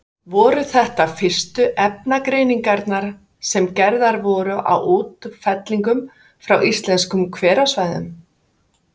Voru þetta fyrstu efnagreiningar sem gerðar voru á útfellingum frá íslenskum hverasvæðum.